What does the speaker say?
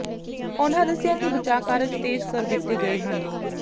ਉਨ੍ਹਾਂ ਦੱਸਿਆ ਕਿ ਬਚਾਅ ਕਾਰਜ ਤੇਜ਼ ਕਰ ਦਿੱਤੇ ਗਏ ਹਨ